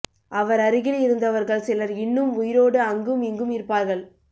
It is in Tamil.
அவர் அருகில் இருந்தவர்கள் சிலர் இன்னும் உயிரோடு அங்கும் இங்கும் இருப்பார்கள்